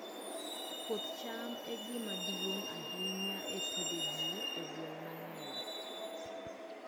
Puoth cham e gima duong' ahinya e pidho ji e gwenge mang'eny.